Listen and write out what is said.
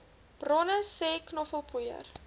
bronne sê knoffelpoeier